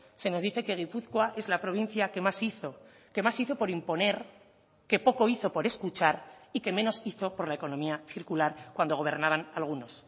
se nos dice que gipuzkoa es la provincia que más hizo que más hizo por imponer que poco hizo por escuchar y que menos hizo por la economía circular cuando gobernaban algunos